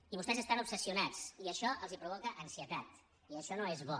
i vostès estan obsessionats i això els provoca ansietat i això no és bo